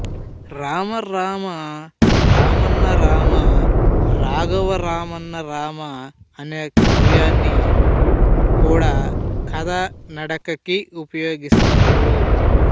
రామరామ రామన్నరామ రాఘవా రామన్నరామ అనే వాక్యాన్ని కూడా కథానడకకి ఉపయోగిస్తారు